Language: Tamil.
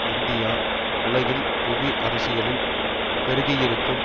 இந்தியா உலகின் புவி அரசியலில் பெருகியிருக்கும்